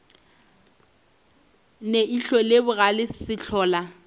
ne ihlo le bogale sehlola